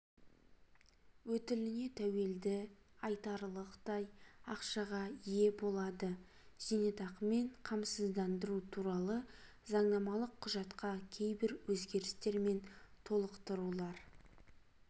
өтіліне тәуелді айтарлықтай ақшаға ие болады зейнетақымен қамсыздандыру туралы заңнамалық құжатқа кейбір өзгерістер мен толықтырулар